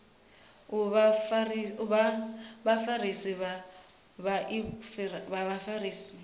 u vha vhafarisi vha vhaofisiri